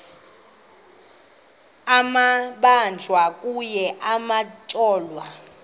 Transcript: amabanjwa kunye nabatyholwa